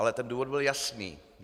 Ale ten důvod byl jasný.